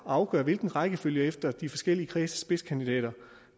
afgøre hvilken rækkefølge efter de forskellige kredses spidskandidater